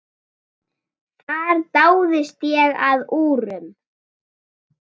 Þar dáðist ég að úrum.